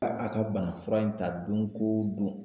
A a ka bana fura in ta don ko don